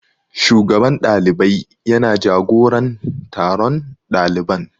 Shugaban ɗalibai ya na jagoran taron ɗaliban